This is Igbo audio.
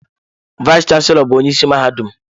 Vayis chansilọ bụ onye isi mahadum.